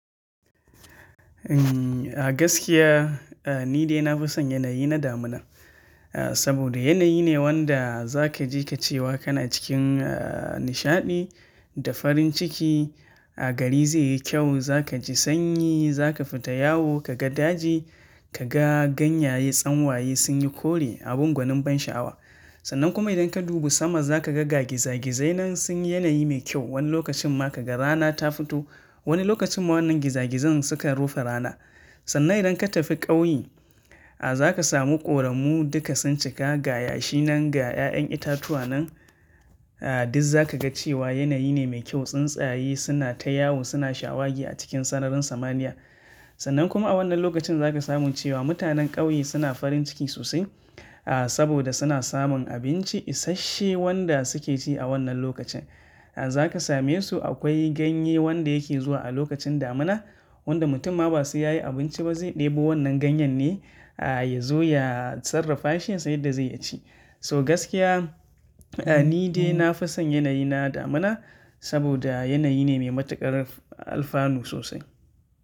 A gaskiya ni dai na fi son yanayi na damina, saboda yanayi ne wanda za ka je ka ce wa kana cikin nishaɗi da farin ciki. Gari zai yi kyau, za ka ji sanyi, za ka fita yawo ka ga daji, ka ga ganyaye tsanwaye sun yi kore abun gwanin ban sha'awa. Sannan kuma idan ka dubi sama za ka ga gagizagizai nan sun yi yanayi mai kyau. Wani lokacin ma ka ga rana ta fito, wani lokacin ma wannan gizagizai suka rufe rana. Sannan idan ka tafi ƙauye, za ka samu ƙoramu duka sun cika gaya shi nan ga 'ya'yan itatuwa nan. Diz za ka ga cewa yanayi ne mai kyau. Tsuntsaye suna ta yawo suna shawagi a cikin sararin samaniya. Sannan kuma a wannan lokacin za ka sami cewa mutanen ƙauye suna farin ciki sosai, saboda suna samun abinci isashshe wanda suke ci a wannan lokacin. Za ka same su akwai ganye wanda yake zuwa a lokacin damina, wanda mutum ma ba sai yayi abinci ba zai ɗebo wannan ganyen ne ya zo ya sarrafa shi yasan yadda zai ya ci. To gaskiya ni dai na fi son yanayi na damina saboda yanayi ne mai matukar alfanu sosai.